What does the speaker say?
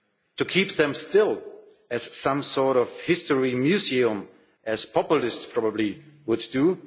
to keep them still as some sort of history museum, as populists probably would